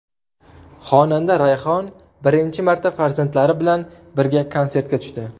Xonanda Rayhon birinchi marta farzandlari bilan birga konsertga tushdi.